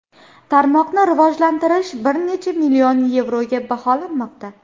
Tarmoqni rivojalantirish bir necha million yevroga baholanmoqda.